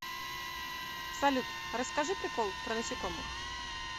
салют расскажи прикол про насекомых